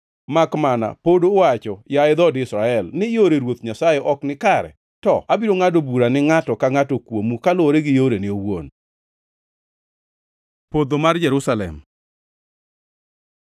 Makmana pod uwacho, yaye dhood Israel, ni, ‘Yore Ruoth Nyasaye ok nikare!’ To abiro ngʼado bura ni ngʼato ka ngʼato kuomu kaluwore gi yorene owuon.” Podho mar Jerusalem